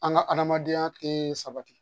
An ka adamadenya tɛ sabati